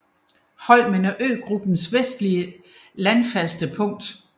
Holmen er øgruppens vestligste landfaste punkt